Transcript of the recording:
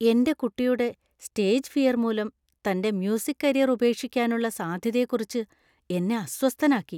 എന്‍റെ കുട്ടിയുടെ stage fear‍ മൂലം തന്‍റെ മ്യൂസിക് കരിയര്‍ ഉപേക്ഷിക്കാനുള്ള സാധ്യതയെക്കുറിച്ച് എന്നെ അസ്വസ്ഥനാക്കി.